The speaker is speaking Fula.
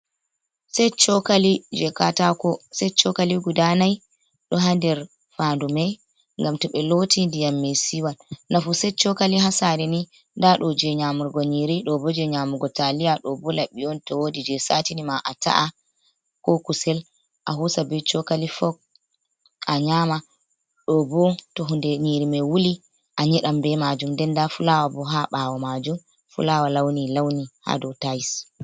Setcokali je katako, set chokali guda nai ɗo ha nder fandu mai gam to ɓe loti ndiyam me siwan, nafu set cokali ha sare ni nda ɗo je nyamurgo nyiri, ɗo bo je nyamugo talia, ɗo bo laɓi on to wodi je satini ma ata'a ko kusel a hosa be chokali fok a nyama, ɗo bo to hunde nyiri mai wuli a nyeɗan be majum den nda fulawa bo ha ɓawo majum, fulawa launi launi ha do tais.